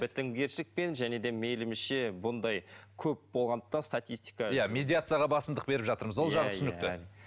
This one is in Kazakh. бітімгершілікпен және де мейілінше бұндай көп болғандықтан статистика иә медиацияға басымдық беріп жатырмыз ол жағы түсінікті